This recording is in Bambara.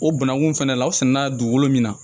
O bananku fɛnɛ la o sɛnɛla dugukolo min na